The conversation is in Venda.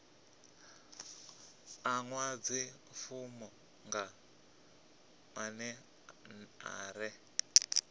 ḓadze fomo nga maḽe ḓere